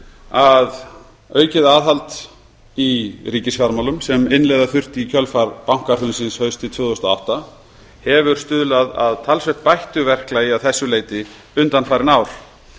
að aukið aðhald í ríkisfjármálum sem innleiða þurfti í kjölfar bankahrunsins haustið tvö þúsund og átta hefur stuðlað að talsvert bættu verklagi að þessu leyti undanfarin ár